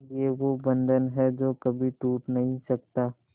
ये वो बंधन है जो कभी टूट नही सकता